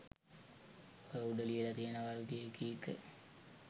ඔය උඩ ලියලා තියෙන වර්ගයේ ගීත